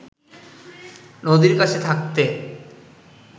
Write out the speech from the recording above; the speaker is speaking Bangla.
নদীর কাছে থাকতে